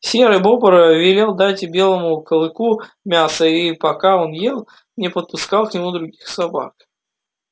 серый бобр велел дать белому клыку мяса и пока он ел не подпускал к нему других собак